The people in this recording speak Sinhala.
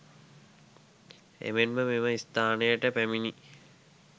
එමෙන්ම මෙම ස්ථානයට පැමිණී